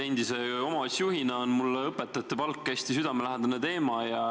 Endise omavalitsusjuhina on mulle õpetajate palk hästi südamelähedane teema.